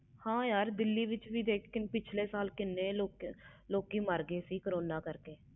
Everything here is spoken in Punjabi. ਹਾਂ ਯਾਰ ਦਿੱਲੀ ਵਿਚ ਵੀ ਪਿਛਲੇ ਸਾਲ ਕੀਨੇ ਲੋਕੀ ਮਾਰ ਗਏ ਸੀ ਕਰੋਨਾ ਨਾਲ